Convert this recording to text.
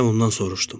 Deyə ondan soruşdum.